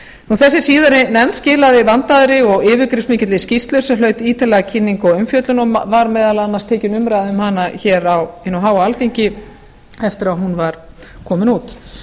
þessi síðari nefnd skilaði vandaðri og yfirgripsmikilli skýrslu sem hlaut ítarlega kynningu og umfjöllun og var meðal annars tekin umræða um hana hér á hinu háa alþingi eftir að hún var komin út